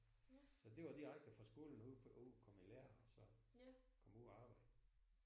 Så det var direkte fra skolen og ud på ud og komme i lære og så komme ud og arbejde